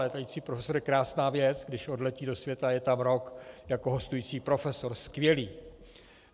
Létající profesor je krásná věc, když odletí do světa, je tam rok jako hostující profesor, skvělé.